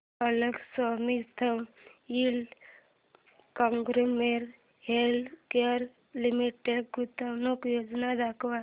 GlaxoSmithKline consumer healthcare limited गुंतवणूक योजना दाखव